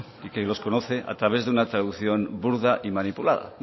y que los conoce a través de una traducción burda y manipulada